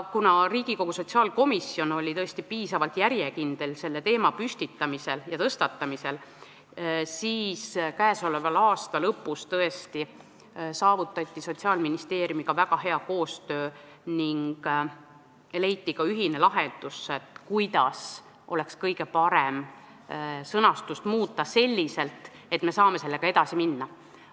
Kuna Riigikogu sotsiaalkomisjon oli tõesti selle teema tõstatamisel järjekindel, siis käesoleva aasta lõpus saavutati Sotsiaalministeeriumiga väga hea koostöö ning leiti ka ühine lahendus, kuidas oleks kõige parem sõnastust muuta selliselt, et me saaks selle eelnõuga edasi minna.